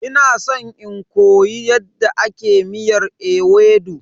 Ina san in koyi yadda ake miyar ewedu.